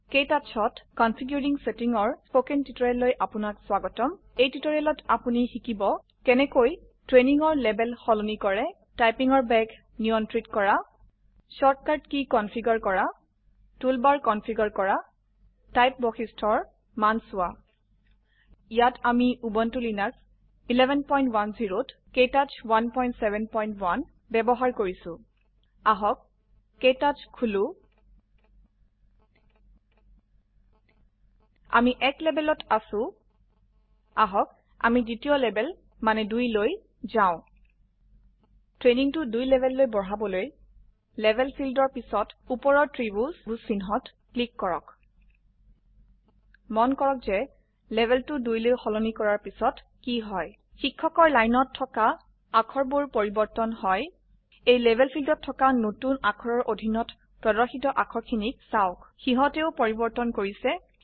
KTouchত configuring সেতিঙৰ spoken টুূটৰীয়েললৈ আপোনাক স্গতম এই টুটৰীয়েলত অামি শিকিম কেনেকৈ ট্ৰেইনীঙৰ লেবেল সলনি কৰে টাইপিঙৰ বেগ নিয়ন্ত্ৰিত কৰা ছোট কাৰ্ট কী কনফিগাৰ কৰা টুলবাৰ কনফিগাৰ কৰা টাইপ বৈশিষ্ট্যেৰ মান চোৱা ইয়াত আমি উবুনটু লিনাক্স ১১১০ত ক্তৌচ 171 বয়ৱহাৰ কৰিছো অাহক ক্তৌচ খোলো আমি ১ লেবেলত আছো আহক আমি দ্বীতিয়লেবেল মানে ২ লৈ যাও ট্ৰেনীঙটো ২ লেবেললৈ বঢ়হাবলৈ লেবেল ফিল্দৰ পিছত উপৰৰ ত্ৰিভুজ চিহ্নত ক্লিককৰক মন কৰক যে লেবেলটো ২লৈ সলনি কৰাৰ পিছত কি হয় শিক্ষকৰ লাইনত থকা অাক্ষৰ বোৰপৰিবৰ্তন হয় এই লেভেল fieldত থকা নতুন অাক্ষৰৰ অধীনত প্ৰদৰ্শিত অাক্ষৰ খিনিক চাওক সিহতেও পৰিবৰ্তন কৰিছে160